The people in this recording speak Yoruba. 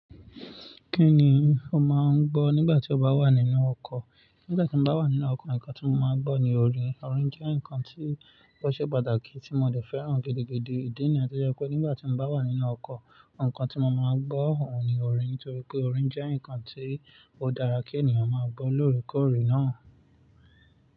Kí ni o máa ń gbọ́ nígbà tí o bá wà nínú ọkọ̀? Nígbà tí mo bá wà nínú ọkọ̀, nǹkan tí mo máa ń gbọ́ ni orin. Orin jẹ́ nǹkan tí ó ṣe pàtàkì tí mo ò lè fẹ́ràn gẹ́gẹ́gẹ́ gẹ́gẹ́. Ìdí nìyẹn jẹ́ pé nígbà tí mo bá wà nínú ọkọ̀, nǹkan tí mo máa gbọ́ òun ni orin torí pé orin jẹ́ nǹkan tí ó dára kí ènìyàn máa gbọ́ lóòrèkóòrè náà.